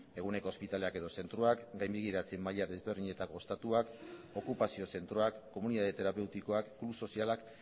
eguneroko ospitaleak edo zentroak gainbegiratze maila desberdinetako ostatuak okupazio zentroak komunidade terapeutikoak klub sozialak